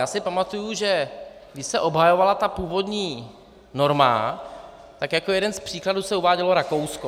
Já si pamatuju, že když se obhajovala ta původní norma, tak jako jeden z příkladů se uvádělo Rakousko.